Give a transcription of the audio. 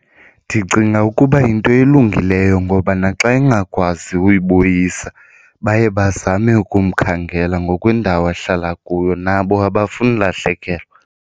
Ndicinga ukuba yinto elungileyo ngoba naxa engakwazi uyibuyisa baye bazame ukumkhangela ngokwendawo ahlala kuyo nabo abafuni ulahlekelwa.